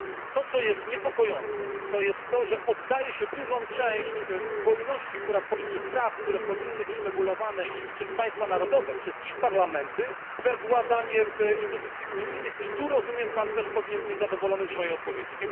To, co jest niepokojące, to jest to, że oddaje się dużą część wolności czy praw, które powinny być regulowane przez państwa narodowe, przez ich parlamenty we władanie instytucji unijnych i tu, rozumiem, Pan też powinien być zadowolony z mojej odpowiedzi.